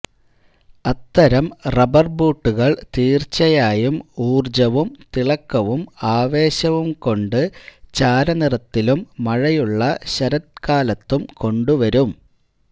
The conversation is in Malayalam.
അത്തരം റബ്ബർ ബൂട്ടുകൾ തീർച്ചയായും ഊർജ്ജവും തിളക്കവും ആവേശവും കൊണ്ട് ചാരനിറത്തിലും മഴയുള്ള ശരത്കാലത്തും കൊണ്ടുവരും